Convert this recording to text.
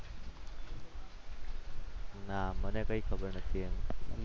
ના, મને કંઈ ખબર નથી એની